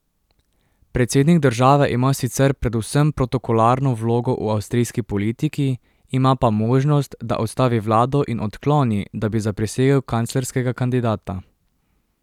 Predsednik države ima sicer predvsem protokolarno vlogo v avstrijski politiki, ima pa možnost, da odstavi vlado in odkloni, da bi zaprisegel kanclerskega kandidata.